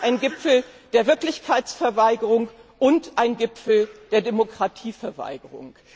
Er war ein Gipfel der Wirklichkeitsverweigerung und ein Gipfel der Demokratieverweigerung.